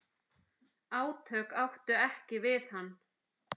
Átök áttu ekki við hann.